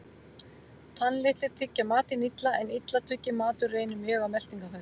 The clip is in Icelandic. Tannlitlir tyggja matinn illa, en illa tugginn matur reynir mjög á meltingarfæri.